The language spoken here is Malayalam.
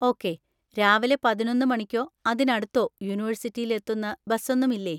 ഓക്കേ, രാവിലെ പതിനൊന്ന് മണിക്കോ അതിനടുത്തോ യൂണിവേഴ്‌സിറ്റിയിൽ എത്തുന്ന ബസൊന്നും ഇല്ലേ?